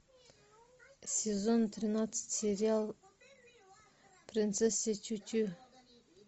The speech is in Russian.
сезон тринадцать сериал принцесса чучу